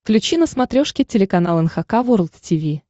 включи на смотрешке телеканал эн эйч кей волд ти ви